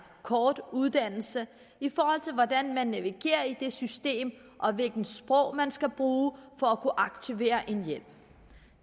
kort uddannelse hvordan man navigerer i det system og hvilket sprog man skal bruge for at kunne aktivere hjælp